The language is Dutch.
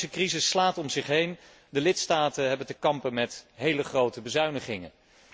De economische crisis slaat om zich heen, de lidstaten hebben te kampen met hele grote bezuinigingen.